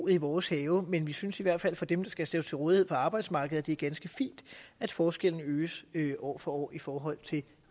i vores have men vi synes i hvert fald at for dem der skal stille sig til rådighed for arbejdsmarkedet er det ganske fint at forskellene øges øges år for år i forhold til